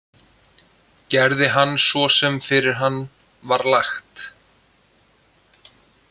Gerði hann svo sem fyrir hann var lagt.